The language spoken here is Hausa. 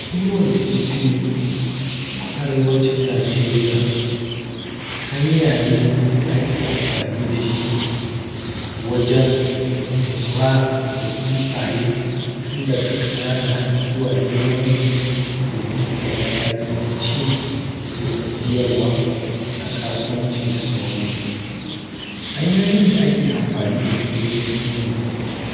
kiwan kifi a arewacin najeriya hanya ne da ake amfani dashi wajan lura kifaye tun daga ƙanana har zuwa domin su kai mataki na ci ko na siyarwana kasuwanci da sauransu hanyoyin d ake amfani dasu wajan kiwan kifi